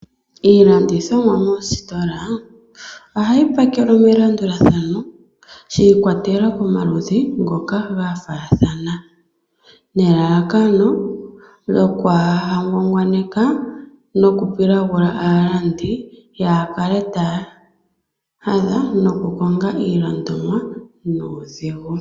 Iilandithomwa moositola, ohayi pakwelwa melandulathano shi ikwatela komaludhi ngoka gafaathana. Nelalakano lyoku ha ngwangwaneka nokupilagula aalandi yakale taya hadha nokukonga iilandomwa nuudhigu.